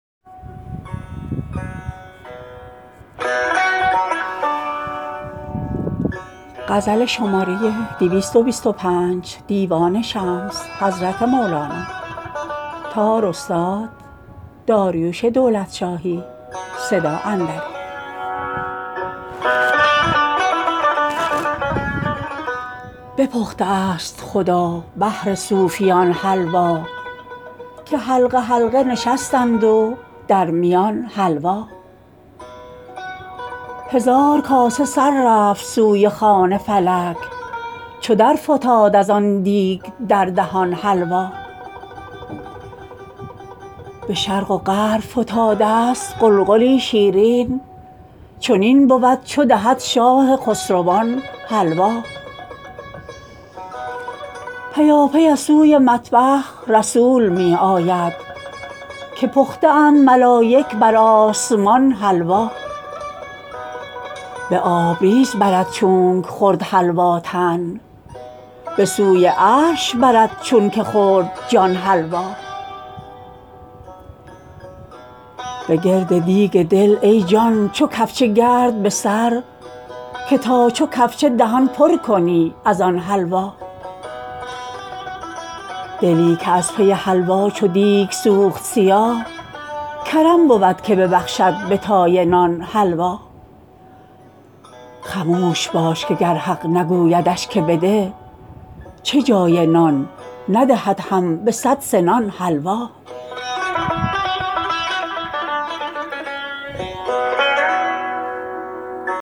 بپخته است خدا بهر صوفیان حلوا که حلقه حلقه نشستند و در میان حلوا هزار کاسه سر رفت سوی خوان فلک چو درفتاد از آن دیگ در دهان حلوا به شرق و غرب فتادست غلغلی شیرین چنین بود چو دهد شاه خسروان حلوا پیاپی از سوی مطبخ رسول می آید که پخته اند ملایک بر آسمان حلوا به آبریز برد چونک خورد حلوا تن به سوی عرش برد چونک خورد جان حلوا به گرد دیگ دل ای جان چو کفچه گرد به سر که تا چو کفچه دهان پر کنی از آن حلوا دلی که از پی حلوا چو دیک سوخت سیاه کرم بود که ببخشد به تای نان حلوا خموش باش که گر حق نگویدش که بده چه جای نان ندهد هم به صد سنان حلوا